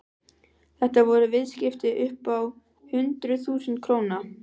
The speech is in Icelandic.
Þetta voru viðskipti upp á hundruð þúsunda króna.